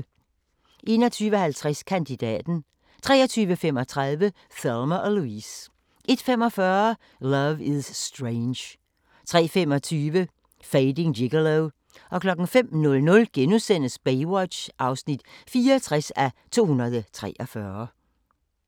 21:50: Kandidaten 23:35: Thelma & Louise 01:45: Love is Strange 03:25: Fading Gigolo 05:00: Baywatch (64:243)*